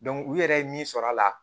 u yɛrɛ ye min sɔrɔ a la